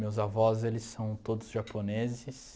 Meus avós, eles são todos japoneses.